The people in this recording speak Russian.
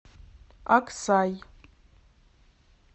аксай